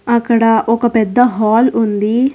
అక్కడ ఒక పెద్ద హాల్ ఉంది.